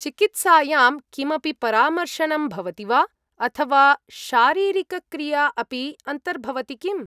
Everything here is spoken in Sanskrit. चिकित्सायां किमपि परामर्शनं भवति वा? अथवा शारीरिकक्रिया अपि अन्तर्भवति किम्?